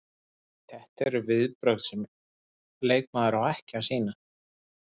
Þetta eru viðbrögð sem leikmaður á ekki að sýna.